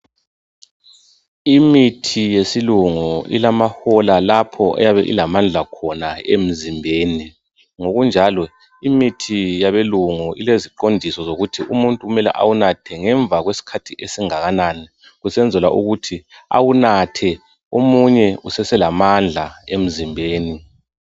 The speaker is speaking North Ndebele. Imithi yesilungu ilamahola lapho eyabe ilamandla khona emzimbeni ngokunjalo imithi yabelungu ileziqondiso zokuthi umuntu kumele awunathe ngemva kwesikhathi esingakanani kusenzelwa ukuthi awunathe omunye useselamandla emzimbeni.